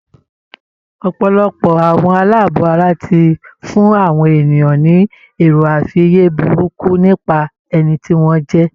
Ọ̀pọ̀lọpọ̀ àwọn aláàbọ̀ ara ti fún àwọn ènìyàn ni èroàfiyé burúkú nípa ẹni tí wọ́n jẹ